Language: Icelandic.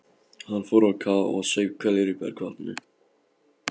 Hann fór á kaf og saup hveljur í bergvatninu.